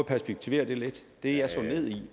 perspektivere det lidt det jeg slog ned i